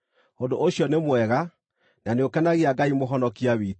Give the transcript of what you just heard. Ũndũ ũcio nĩ mwega, na nĩũkenagia Ngai Mũhonokia witũ,